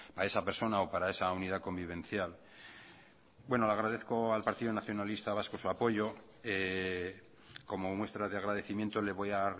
a esa persona o para esa unidad convivencial bueno le agradezco al partido nacionalista vasco su apoyo como muestra de agradecimiento le voy a